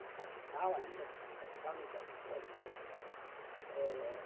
O Capital, ainda, com o Capital lidamos duas vezes.